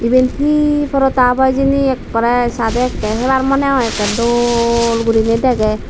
yen he prodah obo hijeni ekkore sade ekke hebar mone hoi ekkere dol gurine dege.